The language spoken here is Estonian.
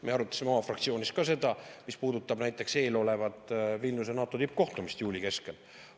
Me arutasime oma fraktsioonis ka seda, mis puudutab eelolevat NATO Vilniuse tippkohtumist juuli keskel.